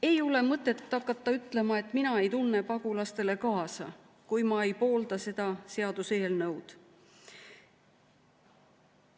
Ei ole mõtet hakata ütlema, et mina ei tunne pagulastele kaasa, kui ma ei poolda seda seaduseelnõu.